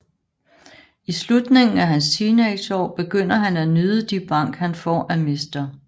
I slutningen af hans teenageår begynder han at nyde de bank han får af mr